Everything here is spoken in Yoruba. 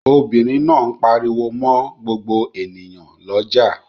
Obìnrin náà ń pariwo mọ́ gbogbo ènìyàn lọ́jà.